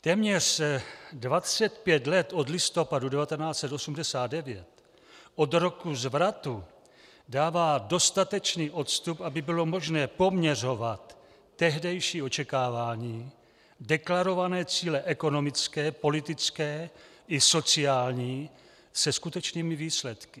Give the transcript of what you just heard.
Téměř 25 let od listopadu 1989, od roku zvratu, dává dostatečný odstup, aby bylo možné poměřovat tehdejší očekávání, deklarované cíle ekonomické, politické i sociální se skutečnými výsledky.